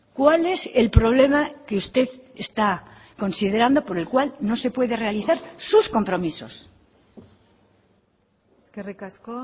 cuál es el problema que usted está considerando por el cual no se puede realizar sus compromisos eskerrik asko